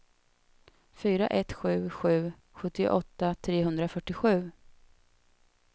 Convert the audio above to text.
fyra ett sju sju sjuttioåtta trehundrafyrtiosju